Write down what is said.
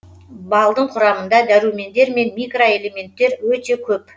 балдың құрамында дәрумендер мен микроэлементтер өте көп